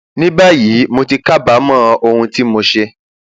ní báyìí mo ti kábàámọ ohun tí mo ṣe